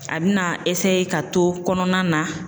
A bɛna ka to kɔnɔna na